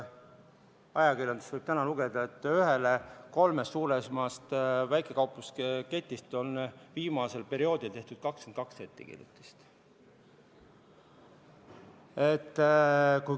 Ajakirjandusest võib täna lugeda, et ühele kolmest suuremast väikekauplusketist on viimasel perioodil tehtud 22 ettekirjutust.